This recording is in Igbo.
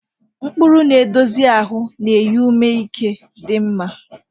Mkpụrụ na-edozi ahụ na-enye ume ike dị mma.